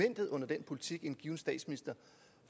politik